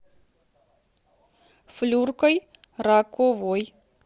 флюркой раковой